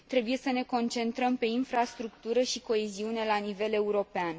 Trebuie să ne concentrăm pe infrastructură și coeziune la nivel european.